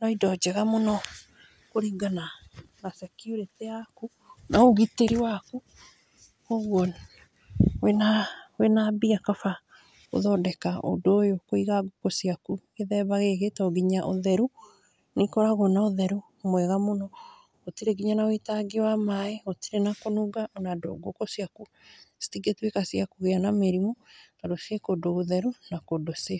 nĩ indo njega mũno kũringana na security yaku na ũgitĩri waku, kũgwo wĩna wĩna mbia kaba gũthondeka ũndũ ũyũ , kũiga ngũkũ ciaku gĩthemba gĩkĩ tondũ nginya ũtheru , nĩ ikoragwo na ũtheru mwega mũno, gũtirĩ nginya na wũitangi wa maaĩ , gũtirĩ na kũnunga, ona ngũkũ ciaku citingĩtwĩka cia kũgĩa na mĩrimũ, tondũ ci kũndũ gũtheru na kũndũ safe.